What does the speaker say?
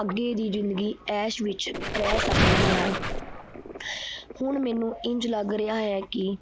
ਅਗੇ ਦੀ ਜ਼ਿੰਦਗੀ ਐਸ਼ ਵਿਚ ਰਹਿ ਸਕਦੀ ਹਾਂ। ਹੁਣ ਮੈਨੂੰ ਇੰਝ ਲੱਗ ਰਿਹਾ ਹੈ ਕੀ